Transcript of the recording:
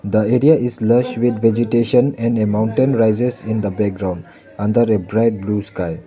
The area is lush with vegetation and a mountain rises in the background under a bright blue sky.